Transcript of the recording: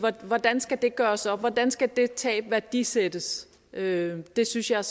hvordan skal det gøres op hvordan skal det tab værdisættes det det synes jeg